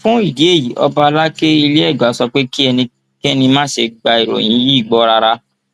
fún ìdí èyí ọba alákẹ ilẹ ẹgbà sọ pé kí ẹnikẹni má ṣe gba ìròyìn yìí gbọ rárá